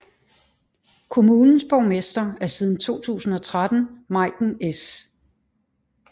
Kommunens borgmester er siden 2013 Meiken S